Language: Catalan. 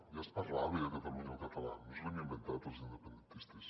ja es parlava a catalunya el català no ens l’hem inventat els independentistes